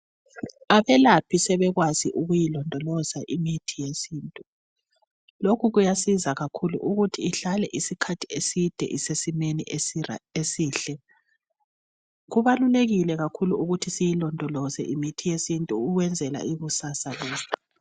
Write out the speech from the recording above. Abelaphi sebekwazi ukuyilondoloza imithi yesintu , lokhu kuyasiza kakhulu ukuthi ihlale isikhathi eside isesimeni esihle , kubalulekile kakhulu ukuthi sizilondoloze imithi yesintu ukwenzela ikusasa yethu